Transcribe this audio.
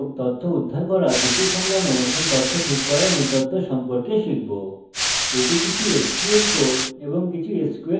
আমি সংযোগ তথ্য উদ্ধার করা ত্রুটি সামলানো এবং তথ্য ঠিক করার মূলতত্ত্ব সম্পর্কে বলবো